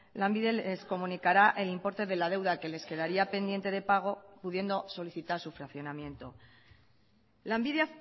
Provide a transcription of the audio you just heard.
lanbide les comunicará el importe de la deuda que les quedaría pendiente de pago pudiendo solicitar su fraccionamiento lanbide